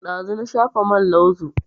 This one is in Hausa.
Ɗazu na shafa man lauzu